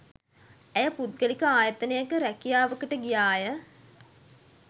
ඇය පුද්ගලික ආයතනයක රැකියාවකට ගියාය